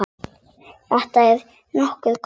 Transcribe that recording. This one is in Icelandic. Þetta er nokkuð gott.